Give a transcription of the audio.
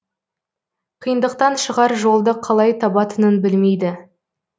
қиындықтан шығар жолды қалай табатынын білмейді